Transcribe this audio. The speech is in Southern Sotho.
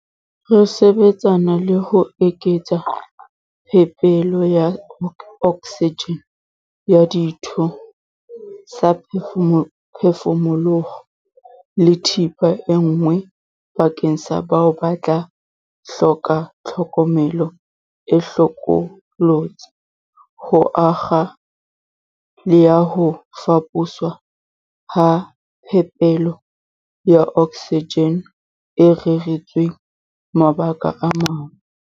Re sebetsana le ho eketsa phepelo ya oksijene, ya dithu-saphefumoloho le thepa e nngwe bakeng sa bao ba tla hloka tlhokomelo e hlokolotsi, ho akga le ya ho faposwa ha phepelo ya oksijene e reretsweng mabaka a mang.